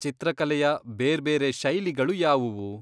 ಚಿತ್ರಕಲೆಯ ಬೇರ್ಬೇರೆ ಶೈಲಿಗಳು ಯಾವುವು?